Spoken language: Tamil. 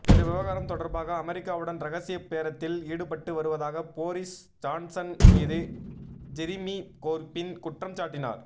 இந்த விவகாரம் தொடா்பாக அமெரிக்காவுடன் ரகசிய பேரத்தில் ஈடுபட்டு வருவதாக போரிஸ் ஜான்ஸன் மீது ஜெரிமி கோா்பின் குற்றம் சாட்டினாா்